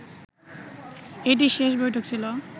এটিই শেষ বৈঠক ছিল